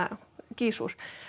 gýs úr